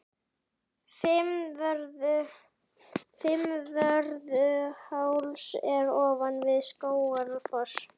Fimmvörðuháls er ofan við Skógafoss.